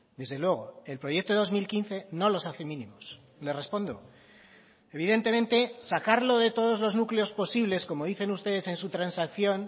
desde luego el proyecto de dos mil quince no los hace mínimos le respondo evidentemente sacarlo de todos los núcleos posibles como dicen ustedes en su transacción